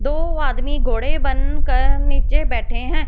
दो आदमी घोड़े बनकर नीचे बैठे हैं।